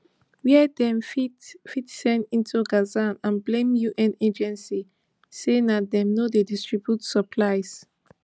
wey dem fit fit send into gaza and blame un agencies say na dem no dey distribute supplies